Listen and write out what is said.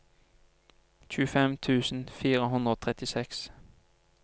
tjuefem tusen fire hundre og trettiseks